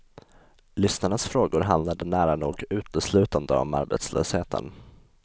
Lyssnarnas frågor handlade nära nog uteslutande om arbetslösheten.